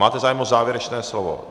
Máte zájem o závěrečné slovo.